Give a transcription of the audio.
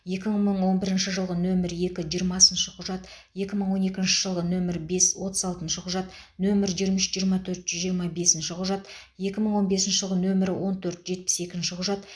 екі мың он бірінші жылғы нөмірі екі жиырмасыншы құжат екі мың он екінші жылғы нөмірі бес отыз алтыншы құжат нөмірі жиырма үш жиырма төрт жүз жиырма бесінші құжат екі мың он бесінші жылғы нөмірі он төрт жетпіс екінші құжат